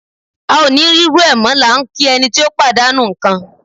A ò ní rí irú ẹ̀ mọ́ la ń kí ẹni tí ó pàdánù ń kan.